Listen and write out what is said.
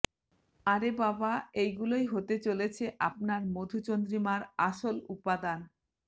আরে বাবা এই গুলোই হতে চলেছে আপনার মধুচন্দ্রিমার আসল উপাদান